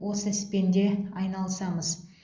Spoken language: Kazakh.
осы іспен де айналысамыз